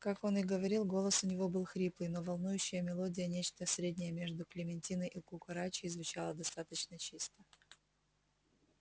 как он и говорил голос у него был хриплый но волнующая мелодия нечто среднее между клементиной и кукарачей звучала достаточно чисто